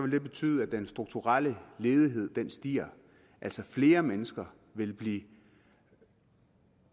det betyde at den strukturelle ledighed stiger altså at flere mennesker vil blive